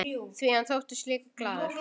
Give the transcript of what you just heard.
Því hann þóttist líka glaður.